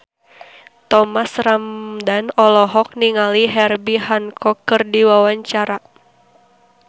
Thomas Ramdhan olohok ningali Herbie Hancock keur diwawancara